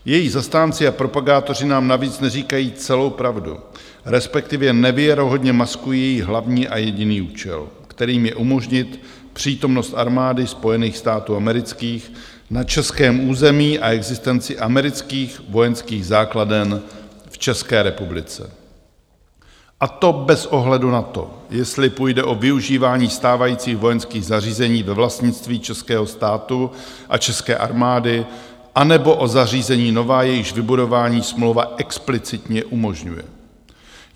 Její zastánci a propagátoři nám navíc neříkají celou pravdu, respektive nevěrohodně maskují její hlavní a jediný účel, kterým je umožnit přítomnost armády Spojených států amerických na českém území a existenci amerických vojenských základen v České republice, a to bez ohledu na to, jestli půjde o využívání stávajících vojenských zařízení ve vlastnictví českého státu a české armády, anebo o zařízení nová, jejichž vybudování smlouva explicitně umožňuje.